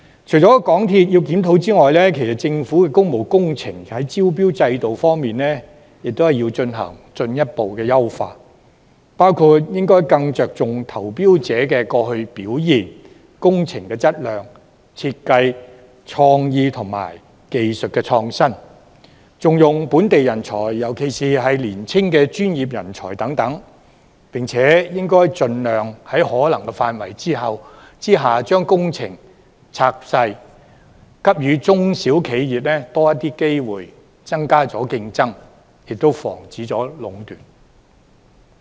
除了港鐵公司要檢討之外，政府亦要進一步優化工務工程項目的招標制度，包括應該更着重投標者過去的表現、工程質量、設計創意及技術創新、重用本地人才，尤其是年青的專業人才等，並且應盡量在可能的範圍之下，把工程細分，以給予中小企業更多機會，增加競爭，亦防止壟斷。